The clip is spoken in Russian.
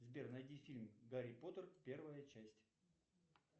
сбер найди фильм гарри поттер первая часть